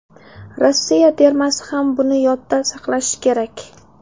Rossiya termasi ham buni yodda saqlashi kerak.